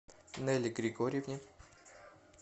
нелле григорьевне